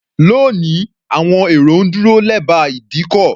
Lónìí, àwọn èrò ń dúró lẹ́bàá ìdíkọ̀.